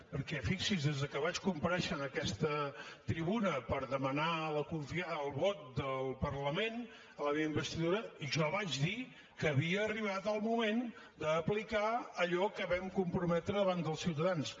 perquè fixi’s des de que vaig comparèixer en aquesta tribuna per demanar el vot del parlament a la meva investidura jo vaig dir que havia arribat el moment d’aplicar allò que vam comprometre davant dels ciutadans